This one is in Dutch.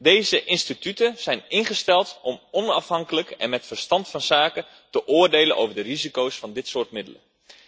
Deze instituten zijn ingesteld om onafhankelijk en met verstand van zaken te oordelen over de risico's van dit soort middelen.